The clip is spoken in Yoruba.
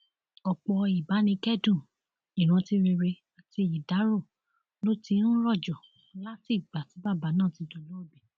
ọpọ ìbánikẹdùn ìrántí rere àti ìdárò ló ti ń rojọ látìgbà tí bàbá náà ti dolóògbé